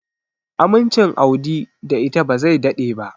Amincin Audi da ita ba zai daɗe ba.